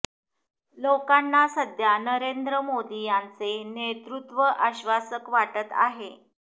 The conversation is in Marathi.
लोकांना सध्या नरेंद्र मोदी यांचे नेतृत्व आश्वासक वाटत आहे